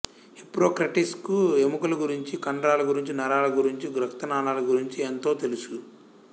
Hippocrates కు ఎముకల గురించి కండరాలగురించి నరాల గురించి రక్త నాళాల గురించి ఎంతో తెలుసు